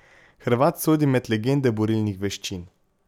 Hrvat sodi med legende borilnih veščin.